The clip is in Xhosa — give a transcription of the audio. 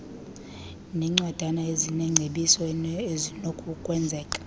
ngeencwadana ezineengcebiso ezinokwenzeka